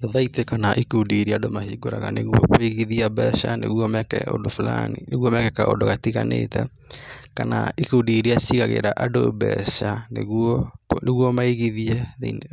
Thothaitĩ kana ikundi iria andũ mahingũraga nĩguo kũigithia mbeca meke ũndũ fulani nĩguo meke kaũndũ gatiganĩte, kana ikundi iria cigagĩra andũ mbeca nĩguo, nĩguo maigithie,